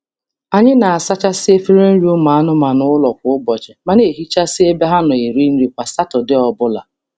Anyị na-asachasị efere nri ụmụ anụmanụ ụlọ kwa ụbọchị ma na-ehichasi ebe ha nọ eri nri kwa Satọdee ọbụla.